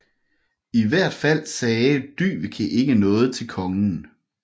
I hvert fald sagde Dyveke ikke noget til kongen